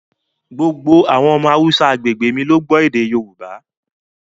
Gbogbo àwọn ọmọ Haúsá agbègbè mi ló gbọ́ èdè Yorùbá